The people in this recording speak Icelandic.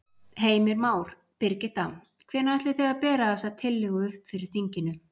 Heimir Már: Birgitta, hvenær ætlið þið að bera þessa tillögu upp fyrir þinginu?